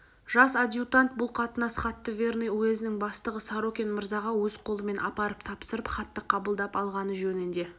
жас адъютант бұл қатынас хатты верный уезінің бастығы сорокин мырзаға өз қолымен апарып тапсырып хатты қабылдап алғаны жөнінде